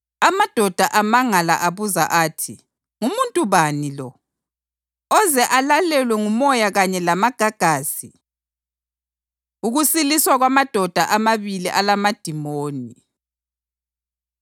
Amadoda amangala abuza athi, “Ngumuntu bani lo? Oze alalelwe ngumoya kanye lamagagasi!” Ukusiliswa Kwamadoda Amabili Alamadimoni